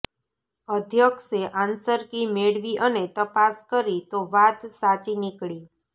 અધ્યક્ષે answer key મેળવી અને તપાસ કરી તો વાત સાચી નિકળી